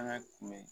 An ka kunbɛ